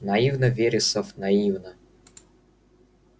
наивно вересов наивно